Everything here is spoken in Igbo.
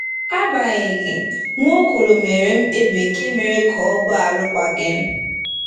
Agbanyeghị, Nwaokolo mere mkpebi nke mere ka ọ gbaa arụkwaghịm.